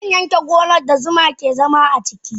Zanyanke gonan da zuma ke zama ciki.